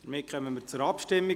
Wir kommen zur Abstimmung.